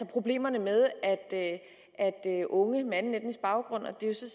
problemerne med at unge med anden etnisk baggrund